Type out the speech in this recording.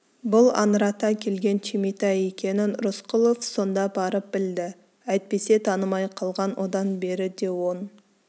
бұл аңырата келген түйметай екенін рысқұлов сонда барып білді әйтпесе танымай қалған одан бері де он